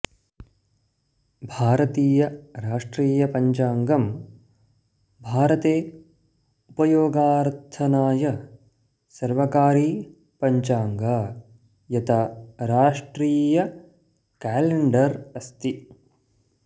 भारतीय राष्ट्रियपञ्चाङ्गम् भारते उपयोगार्थनाय सर्वकारी पञ्चाङ्ग यत राष्ट्रीयकैलेंडर अस्ति